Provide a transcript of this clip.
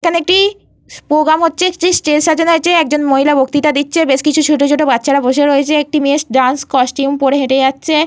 এখানে একটি প্রোগ্রাম হচ্ছে। সেই স্টেজ সাজানো হয়েছে। একজন মহিলা বক্তিতা দিচ্ছে। বেশ কিছু ছোট ছোট বাচ্চারা বসে রয়েছে। একটি মেয়ে ডান্স কস্টিউম পরে হেঁটে যাচ্ছে।